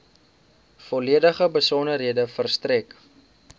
volledige besonderhede verstrek